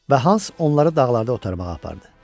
Və Hans onları dağlarda otarmağa apardı.